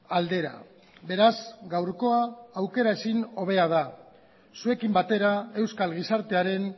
aldera beraz gaurkoa aukera ezin hobea da zuekin batera euskal gizartearen